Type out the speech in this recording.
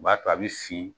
O b'a to a bɛ fin